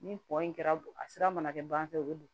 Ni kɔ in kɛra a sira mana kɛ banfɛ o bɛ don